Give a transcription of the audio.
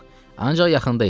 Yox, ancaq yaxında idim.